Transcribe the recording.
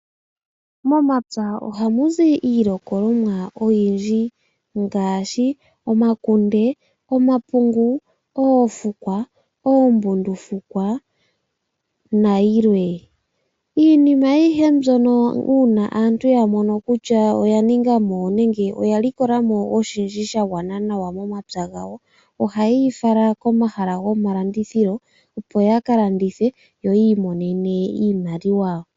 Momapya ohamu zi iilikolomwa oyindji ngaashi omakunde, omapungu, oofukwa, oombundufukwa nayilwe. Iinima ayihe mbyono uuna aantu ya mono kutya oya ninga mo nenge oya likola mo oshindji sha gwana nawa momapya gawo, ohaye yi fala komahala gomalandithilo opo ya ka landithe yo yi imonene iimaliwa.